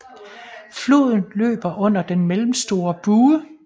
Floden løber under den mellemstore bue